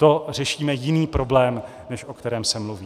To řešíme jiný problém, než o kterém se mluví.